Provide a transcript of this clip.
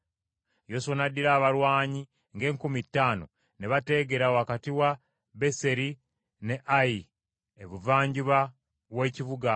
Yoswa n’addira abalwanyi ng’enkumi ttaano ne bateegera wakati wa Beseri ne Ayi ebuvanjuba w’ekibuga.